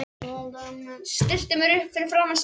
Stilli mér upp fyrir framan spegilinn.